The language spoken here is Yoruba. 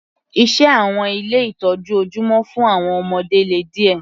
Iṣẹ́ àwọn ilé ìtọ́jú ojúmọ́ fún àwọn ọmọdé le díẹ̀.